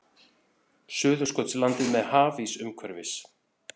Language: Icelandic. Suðurskautslandið með hafís umhverfis.